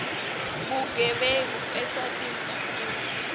bugebengu eswatini kakhulu